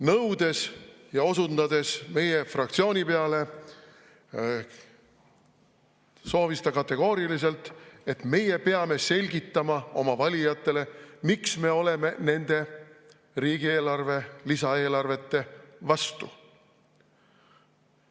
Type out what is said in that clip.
Nõudes ja osundades meie fraktsiooni peale, soovis ta kategooriliselt, et meie peame selgitama oma valijatele, miks me oleme nende lisaeelarvete vastu.